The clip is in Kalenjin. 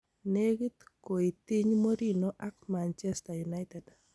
Negiit koiitiny Mourinho ak Manchester United.